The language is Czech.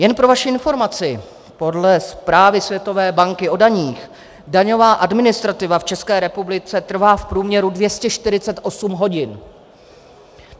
Jen pro vaši informaci, podle zprávy Světové banky o daních daňová administrativa v České republice trvá v průměru 248 hodin.